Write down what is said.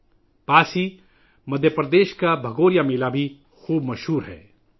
اس کے قریب ہی مدھیہ پردیش کا بھگوریا میلہ بھی بہت مشہور ہے